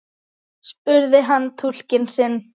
spurði hann túlkinn sinn.